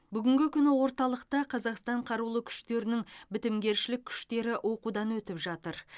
бүгінгі күні орталықта қазақстан қарулы күштерінің бітімгершілік күштері оқудан өтіп жатыр